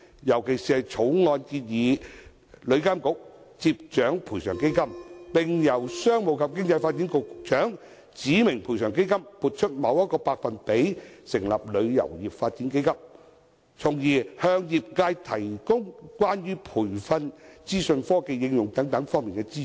尤其而言，條例草案建議旅監局掌管賠償基金，並由商務及經濟發展局局長指明從該基金撥出某個百分比，以成立旅遊業發展基金，從而向業界提供關於培訓、資訊科技應用等方面的資助。